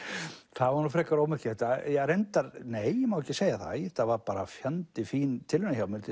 það var nú frekar ómerkilegt nei ég má ekki segja það þetta var fjandi fín tilraun hjá mér